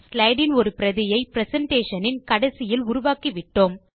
slide இன் ஒரு பிரதியை பிரசன்டேஷன் இன் கடைசியில் உருவாக்கி விட்டோம்